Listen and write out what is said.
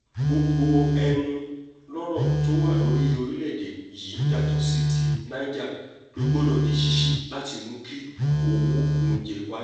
gbogbo ẹnulọ́rọ̀ tó wọ orílẹ̀‐èdè yìí yàtọ̀ sí ti niger ló gbọdọ̀ di ṣíṣí láti mú kí owó oúnjẹ wálẹ̀